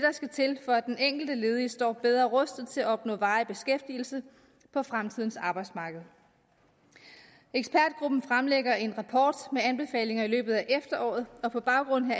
skal til for at den enkelte ledige står bedre rustet til at opnå varig beskæftigelse på fremtidens arbejdsmarked ekspertgruppen fremlægger en rapport med anbefalinger i løbet af efteråret og på baggrund